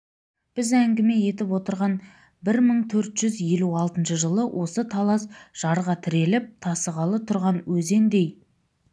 біз әңгіме етіп отырған бір мың төрт жүз елу алтыншы жылы осы талас жарға тіреліп тасығалы тұрған өзендей